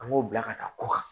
An b'o bila ka taa kɔ kan